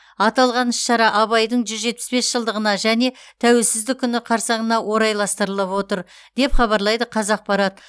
аталған іс шара абайдың жүз жетпіс бес жылдығына және тәуелсіздік күні қарсаңына орайластырылып отыр деп хабарлайды қазақпарат